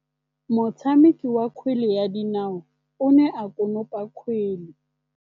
Motshameki wa kgwele ya dinaô o ne a konopa kgwele.